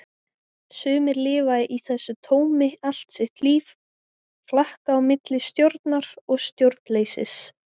Sumir lifa í þessu tómi allt sitt líf, flakka á milli stjórnar og stjórnleysis.